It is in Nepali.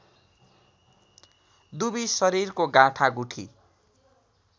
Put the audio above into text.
दुबी शरीरको गाँठागुठी